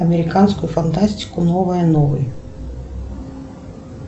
американскую фантастику новое новый